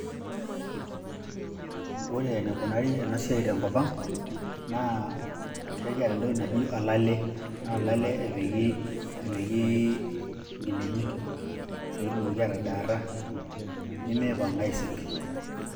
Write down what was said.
Ore enikunari ena siai tenkop ang' naa kekiata entoki naji olale, naa olale epiki epiki nkinejik pee etumoki atadaata nemipang' aisik.